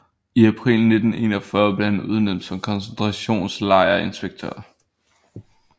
I april 1941 blev han udnævnt som koncentrationslejrinspektør